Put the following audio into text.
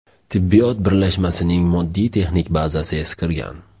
Tibbiyot birlashmasining moddiy texnik bazasi eskirgan.